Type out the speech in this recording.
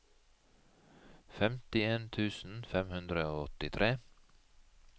femtien tusen fem hundre og åttitre